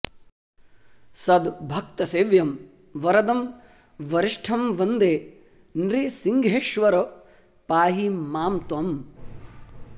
सद्भक्तसेव्यं वरदं वरिष्ठं वन्दे नृसिंहेश्वर पाहि मां त्वम्